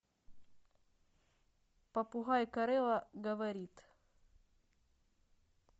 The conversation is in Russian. попугай корелла говорит